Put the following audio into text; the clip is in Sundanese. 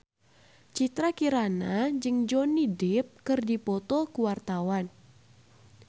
Citra Kirana jeung Johnny Depp keur dipoto ku wartawan